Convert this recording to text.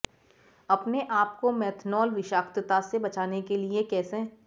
अपने आप को मेथनॉल विषाक्तता से बचाने के लिए कैसे